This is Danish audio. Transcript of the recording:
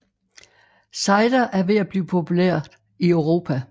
Cider er ved at blive populært i Europa